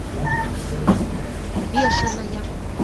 бешеная